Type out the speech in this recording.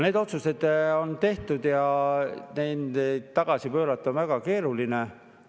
Need otsused on tehtud ja neid tagasi pöörata on väga keeruline.